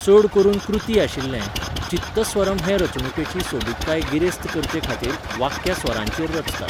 चड करून कृती आशिल्ले, चित्तस्वरम हे रचणुकेची सोबीतकाय गिरेस्त करचेखातीर, वाक्यां स्वरांचेर रचतात.